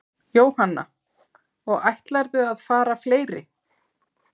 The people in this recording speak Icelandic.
Jóhanna: Og ætlarðu að fara fleiri?